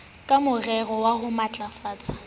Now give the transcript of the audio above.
ka morero wa ho matlafatsa